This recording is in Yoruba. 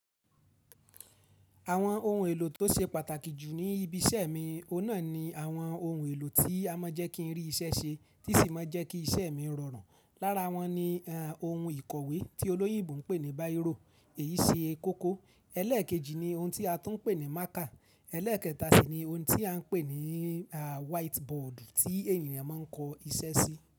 Àwọn ohun èlò tó ṣe pàtàkì jù ní ibi iṣẹ́ mi, ọ̀nà ni àwọn ohun èlò tí a mọ̀ jẹ́ kí n rí iṣẹ́ ṣe tí sì máa jẹ́ kí iṣẹ́ mi rọrùn. Lára wọn ni ohun ìkọ̀wé tí olóyìnbo ń pè ní bírò, èyí ṣe kókó. Ẹlẹ́ẹ̀kejì ni ohun tí a tún ń pè ní mákà. Ẹlẹ́ẹ̀kẹta sì ni ohun tí a ń pè ní wáítíbọọ̀dù tí ènìyàn máa ń kọ iṣẹ́ sí.